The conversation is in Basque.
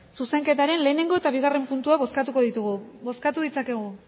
zuzenketaren lehenengo eta bigarren puntua bozkatuko ditugu bozkatu ditzakegu